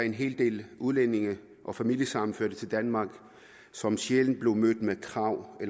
en hel del udlændinge og familiesammenførte til danmark som sjældent blev mødt med krav